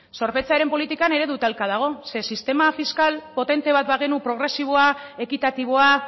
zorpetzearen politikan eredu talka dago zeren sistema fiskal potente bat bagenu progresiboa ekitatiboa